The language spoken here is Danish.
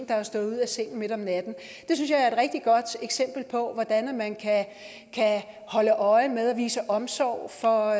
der er stået ud af sengen midt om natten det synes jeg er et rigtig godt eksempel på hvordan man kan holde øje med og vise omsorg for